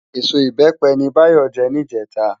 Ésó Ibèpè ni Bayo jè nijètá